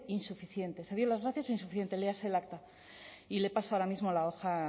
insuficientes se dio las gracias insuficiente léase el acta y le paso ahora mismo la hoja